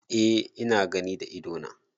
Eh ina gani da ido na.